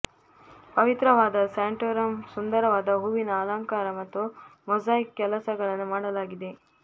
ಪವಿತ್ರವಾದ ಸ್ಯಾಂಟೋರಮ್ ಸುಂದರವಾದ ಹೂವಿನ ಅಲಂಕಾರ ಮತ್ತು ಮೊಸಾಯಿಕ್ ಕೆಲಸಗಳನ್ನು ಮಾಡಲಾಗಿದೆ